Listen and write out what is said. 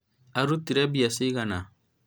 ũrutĩire mbia cigana?